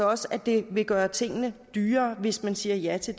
også at det vil gøre tingene dyrere hvis vi siger ja til